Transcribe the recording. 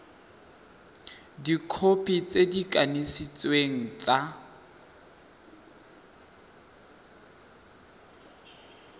dikhopi tse di kanisitsweng tsa